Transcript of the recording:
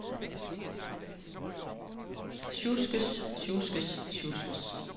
sjuskes sjuskes sjuskes